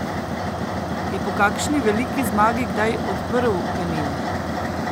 Je po kakšni veliki zmagi kdaj odprl penino?